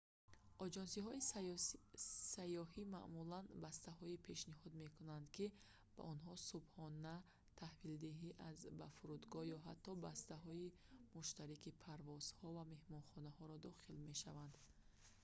оҷонсиҳои сайёҳӣ маъмулан бастаҳое пешниҳод мекунанд ки ба онҳо субҳона таҳвилдиҳӣ аз/ба фурудгоҳ ё ҳатто бастаҳои муштараки парвозҳо ва меҳмонхонаро дохил мешаванд